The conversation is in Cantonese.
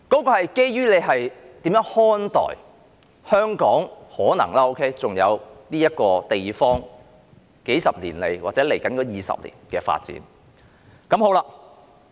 這是基於我們如何看待香港可能尚餘的這個地方，在數十年來，或者在接下來20年的發展。